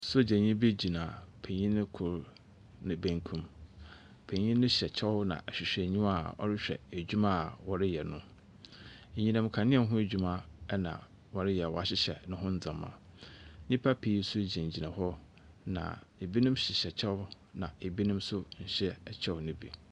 Sojanii bi gyina panyin koro ne benkum panyin no hyɛ kyɛw nna ahwihwɛniwa a ɔrehwɛ edwuma a wɔreyɛ no anyinamkanea ne ho edwuma ɛna ɔreyɛ na wahyihyɛ neho ndɛmaa nipa pii nso gyinagyina hɔ ebinom na hyihyɛ kyɛw na ebinom nhyɛ ɛkyɛw no bi.